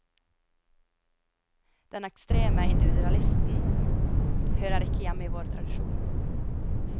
Den ekstreme individualisten hører ikke hjemme i vår tradisjon.